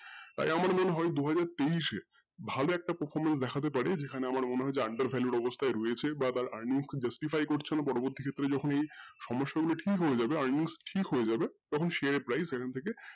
আমার মনে হয় দুহাজার তেইশে ভালো একটা performance দেখাতে পারে যেখানে আমার মনে হয় যে value র অবস্থায় রয়েছে বা তার earning করছেনা কোনো কোনো ক্ষেত্রে যখন যেই সমস্যাটা ঠিক হয়ে যাবে sghare price ঠিক হয়ে যাবে কিন্তু share price